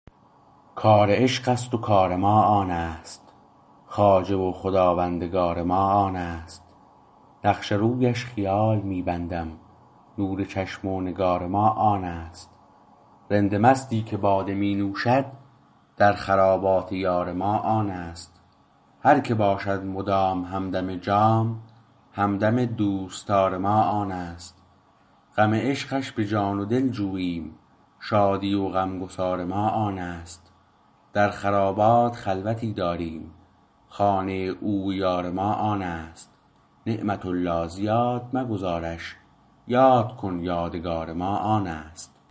کار عشقست و کار ما آنست خواجه و خواندگار ما آنست نقش رویش خیال می بندم نور چشم و نگار ما آنست رند مستی که باده می نوشد در خرابات یار ما آنست هرکه باشد مدام همدم جام همدم دوستدار ما آنست غم عشقش به جان و دل جوییم شادی و غمگسار ما آنست در خرابات خلوتی داریم خانه او و یار ما آنست نعمت الله زیاد مگذارش یاد کن یادگار ما آنست